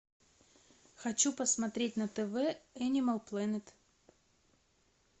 хочу посмотреть на тв энимал плэнет